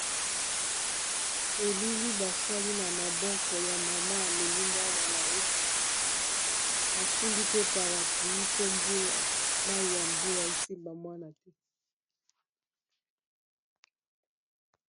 elili basali na maboko ya mama amemi mwana na ye asimbi pe parappluis mpo mai ya mbula esimba mwana te